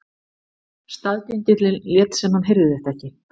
Staðgengillinn lét sem hann heyrði þetta ekki.